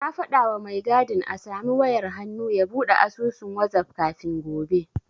Na faɗawa mai gadin a samu wayar hannu ya buɗe asusun wazaf kafin gobe.